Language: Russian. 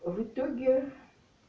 в итоге